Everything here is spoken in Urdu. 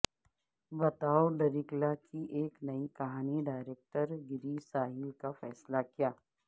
بتاو ڈریکلا کی ایک نئی کہانی ڈائریکٹر گیری ساحل کا فیصلہ کیا